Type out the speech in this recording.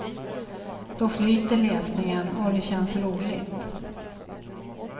Då flyter läsningen och det känns roligt.